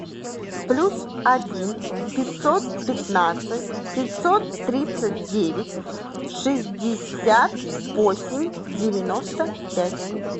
плюс один пятьсот пятнадцать пятьсот тридцать девять шестьдесят восемь девяносто пять